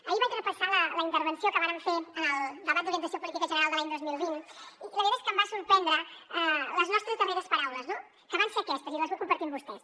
ahir vaig repassar la intervenció que vàrem fer en el debat d’orientació política general de l’any dos mil vint i la veritat és que em van sorprendre les nostres darreres paraules que van ser aquestes i les vull compartir amb vostès